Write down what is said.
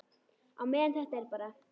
Á meðan þetta er bara.